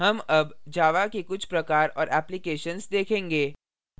हम अब java के कुछ प्रकार और applications देखेंगे